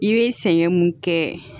I bɛ sɛgɛn mun kɛ